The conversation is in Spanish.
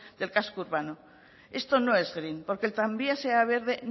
del casco urbano esto no es green porque el tranvía sea verde